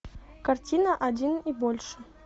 картина один и больше